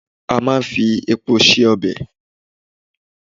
À máa n fi epo se ọbẹ̀